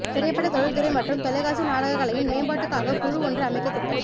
திரைப்பட தொழிற்துறை மற்றும் தொலைக்காட்சி நாடக கலையின் மேம்பாட்டுக்காக்கு குழு ஒன்று அமைக்க திட்டம்